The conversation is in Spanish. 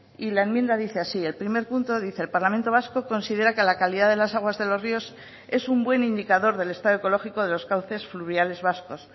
y la enmienda dice así el primer punto dice el parlamento vasco considera que la calidad de las aguas de los ríos es un buen indicador del estado ecológico de los cauces fluviales vascos